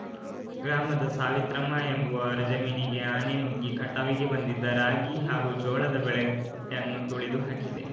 ಗ್ರಾಮದ ಸಾವಿತ್ರಮ್ಮ ಎಂಬುವವರ ಜಮೀನಿಗೆ ಆನೆ ನುಗ್ಗಿ ಕಟಾವಿಗೆ ಬಂದಿದ್ದ ರಾಗಿ ಹಾಗೂ ಜೋಳದ ಬೆಳೆಗ್ ಯನ್ನು ತುಳಿದು ಹಾಕಿದೆ